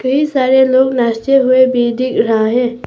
कई सारे लोग नाचते हुए भी दिख रहा है।